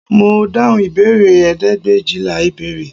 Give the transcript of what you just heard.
Mo dáhùn ìbéèrè ẹ̀ẹ́dẹ́gbẹ̀éjìlá ìbéèrè